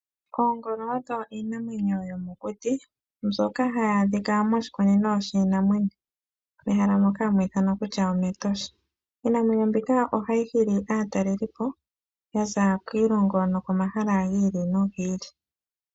Oongolo odho iinamwenyo yomokuti mbyoka hayi adhika moshikunino shiinamwenyo mehala moka hamu ithanwa kutya omEtosha. Iinamwenyo mbika ohayi hili aatalelipo ya za kiilongo nokomahala gi ili nogi ili.